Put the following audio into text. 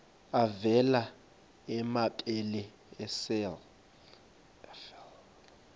avela amabele esel